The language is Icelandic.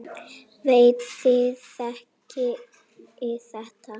Veit þið þekkið þetta.